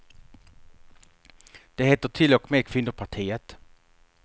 Det heter till och med kvinnopartiet.